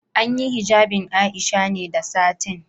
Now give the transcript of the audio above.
An yi hijabin Aisha ne da satin.